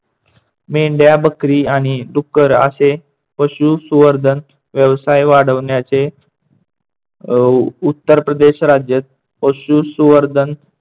मेंढया, बकरी आणि डुक्कर असे पशुसुवर्धन व्यवसाय वाढवण्याचे अह उत्तरप्रदेश राज्यात पशुसुवर्धन